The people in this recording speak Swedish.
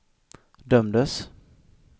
dömdes